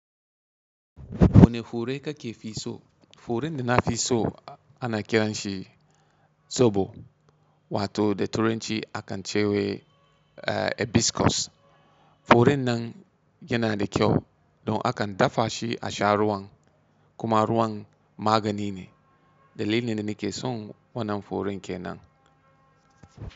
Wane fure kake fi so? Furen da na fi so ana kiran shi tsobo wato da turanci akan ce wa hibiscus. Furen nan yana da kyau don akan dafa shi a sha ruwan kuma ruwan magani ne. Dalilin da nake son wannan furen kenan.